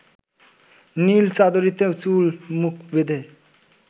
নীল চাদরীতে চুল মুখ বেঁধে